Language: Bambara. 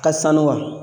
Ka sanu wa